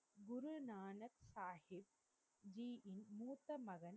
குருநாநக்சஹிப்ஜி இன் மூத்த மகன்